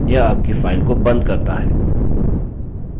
यह आपकी file को बंद करता है